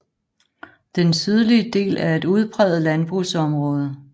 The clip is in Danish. Den sydlige del er et udpræget landbrugsområde